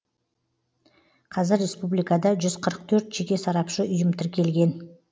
қазір республикада жүз қырық төрт жеке сарапшы ұйым тіркелген